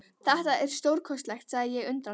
Þetta er stórkostlegt sagði ég undrandi.